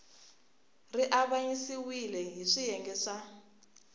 ri avanyisiwile hi swiyenge swa